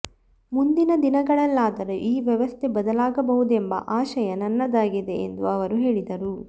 ಮುಂದಿನ ದಿನಗಳಲ್ಲಾದರೂ ಈ ವ್ಯವಸ್ಥೆ ಬದಲಾಗಬಹುದೆಂಬ ಆಶಯ ನನ್ನದಾಗಿದೆ ಎಂದು ಅವರು ಹೇಳಿದರು